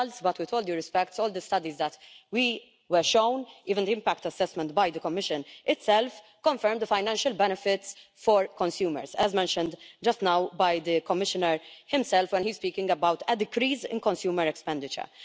With all due respect, all the studies that we were shown even the impact assessment by the Commission itself confirmed the financial benefits for consumers, as mentioned just now by the Commissioner himself when he was speaking about a decrease in consumer expenditure.